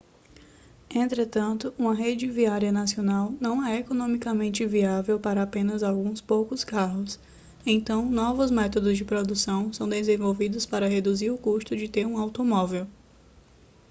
entretanto um rede viária nacional não é economicamente viável para apenas alguns poucos carros então novos métodos de produção são desenvolvidos para reduzir o custo de ter um automóvel